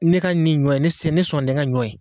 Ne ka nin ɲɔ ye ne sɔn tɛ n ka ɲɔ ye